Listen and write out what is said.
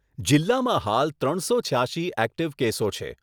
જીલ્લામાં હાલ ત્રણસો છ્યાશી એક્ટિવ કેસો છે.